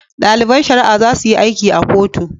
Daliban shari'a zasuyi aiki a kotu